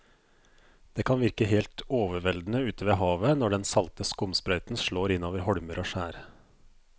Det kan virke helt overveldende ute ved havet når den salte skumsprøyten slår innover holmer og skjær.